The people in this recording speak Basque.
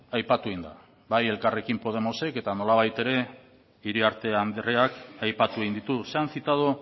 aipatu egin da bai elkarrekin podemosek eta nolabait ere iriarte andreak aipatu egin ditu se han citado